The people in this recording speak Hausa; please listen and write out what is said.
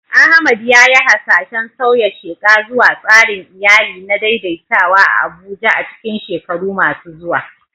Ahmad ya yi hasashen sauya sheƙa zuwa tsarin iyali na daidaitawa a Abuja a cikin shekaru masu zuwa.